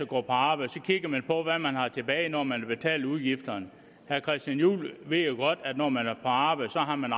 gå på arbejde kigger man på hvad man har tilbage når man har betalt udgifterne herre christian juhl ved jo godt at når man går på arbejde har man